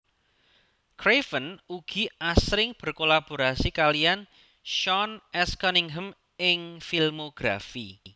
Craven ugi asring berkolaborasi kaliyan Sean S Cunningham ing filmografi